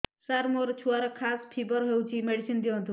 ସାର ମୋର ଛୁଆର ଖାସ ଓ ଫିବର ହଉଚି ମେଡିସିନ ଦିଅନ୍ତୁ